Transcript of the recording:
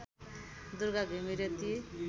दुर्गा घिमिरे ती